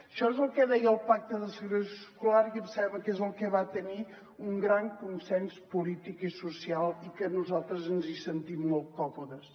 això és el que deia el pacte de segregació escolar i em sembla que és el que va tenir un gran consens polític i social i que nosaltres ens hi sentim molt còmodes